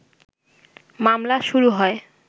মামলা শুরু হয়